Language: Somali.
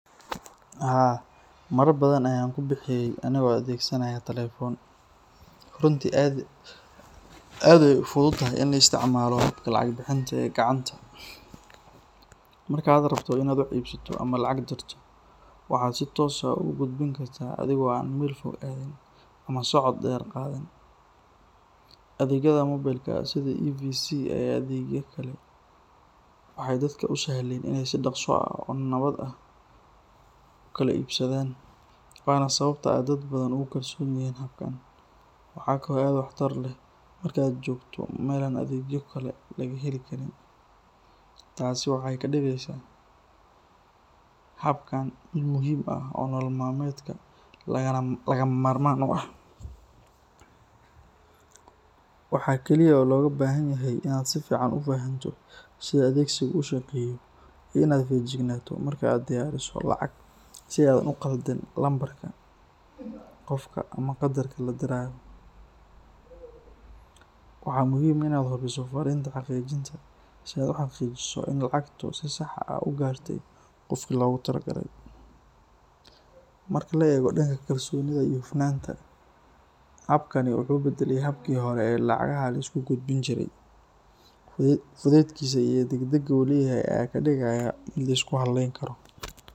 Haa, marar badan ayaan wax ku bixiyay anigoo adeegsanaya telefoon, runtii aad ayay u fududahay in la isticmaalo habka lacag-bixinta ee gacanta. Marka aad rabto inaad wax iibsato ama lacag dirto, waxaad si toos ah ugu gudbin kartaa adiga oo aan meel fog aadin ama socod dheer qaadin. Adeegyada moobilka sida EVC ama adeegyada kale waxay dadka u sahleen inay si dhakhso ah oo nabad ah ku kala iibsadaan, waana sababta ay dad badan ugu kalsoon yihiin habkan. Waxa kale oo aad waxtar u leh marka aad joogto meel aan adeegyo kale laga heli karin. Taasi waxay ka dhigeysaa habkan mid muhiim ah oo nolol maalmeedka lagama maarmaan u ah. Waxa kaliya oo lagaaga baahan yahay inaad si fiican u fahanto sida adeegsigu u shaqeeyo iyo inaad feejignaato marka aad dirayso lacag si aadan u khaldin lambarka qofka ama qadarka la dirayo. Waxaa muhiim ah inaad hubiso fariinta xaqiijinta si aad u xaqiijiso in lacagtu si sax ah u gaartay qofkii loogu talagalay. Marka la eego dhanka kalsoonida iyo hufnaanta, habkani wuxuu beddelay hababkii hore ee lacagaha la isku gudbin jiray. Fudaydkiisa iyo degdegga uu leeyahay ayaa ka dhigaya mid la isku halleyn karo.